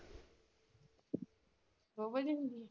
ਦੋ ਵਜੇ ਹੁੰਦੀ ਆ?